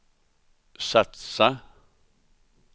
satsa